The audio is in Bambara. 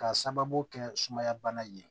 K'a sababu kɛ sumaya bana ye